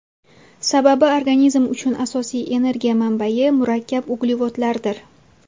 Sababi organizm uchun asosiy energiya manbayi murakkab uglevodlardir.